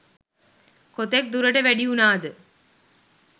කොතෙක් දුරට වැඩි වුණාද?